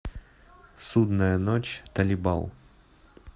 судная ночь талибал